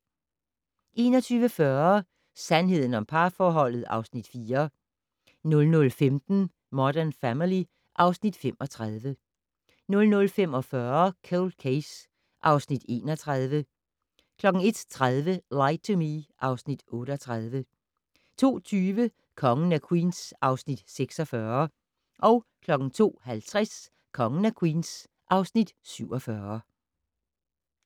21:40: Sandheden om parforholdet (Afs. 4) 00:15: Modern Family (Afs. 35) 00:45: Cold Case (Afs. 31) 01:30: Lie to Me (Afs. 38) 02:20: Kongen af Queens (Afs. 46) 02:50: Kongen af Queens (Afs. 47)